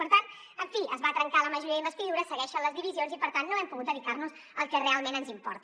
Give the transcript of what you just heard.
per tant en fi es va trencar la majoria d’investidura segueixen les divisions i per tant no hem pogut dedicar nos al que realment ens importa